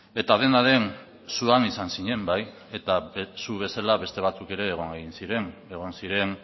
eta dena den zu han izan zinen bai eta zu bezala beste batzuk ere egon egin ziren egon ziren